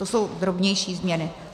To jsou drobnější změny.